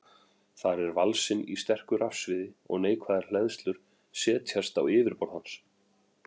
Þar er valsinn í sterku rafsviði og neikvæðar hleðslur setjast á yfirborð hans.